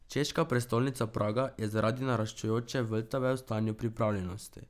Češka prestolnica Praga je zaradi naraščajoče Vltave v stanju pripravljenosti.